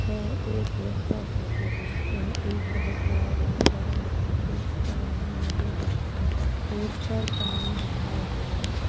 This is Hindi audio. यह एक रोड का फोटो हैं यह एक बहुत बड़ा रोड हैं रोड के बगल मे नदी बेह रही हैं रोड पर पानी भरा हुआ हैं।